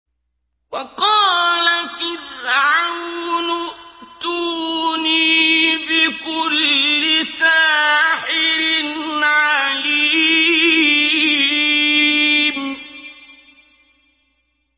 وَقَالَ فِرْعَوْنُ ائْتُونِي بِكُلِّ سَاحِرٍ عَلِيمٍ